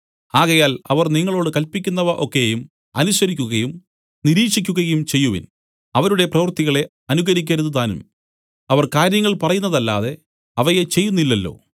ആകയാൽ അവർ നിങ്ങളോടു കല്പിക്കുന്നവ ഒക്കെയും അനുസരിക്കുകയും നിരീക്ഷിക്കുകയും ചെയ്‌വിൻ അവരുടെ പ്രവർത്തികളെ അനുകരിക്കരുതുതാനും അവർ കാര്യങ്ങൾ പറയുന്നതല്ലാതെ അവയെ ചെയ്യുന്നില്ലല്ലോ